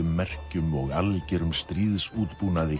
merkjum og algerum